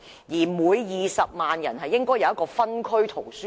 此外，每20萬人口亦應有一間分區圖書館。